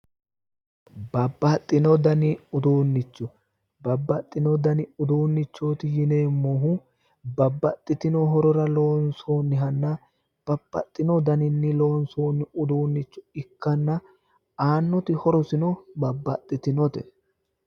Babbaxino dani uduunnicho, babbaxino dani uduunnichooti yineemohu babbaxitino horora loonisoonihana babaxino daninni loonsooni uduunnicho ikana aanoti horosino babbaxitinote.